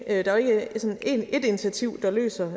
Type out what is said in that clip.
sådan ét initiativ der løser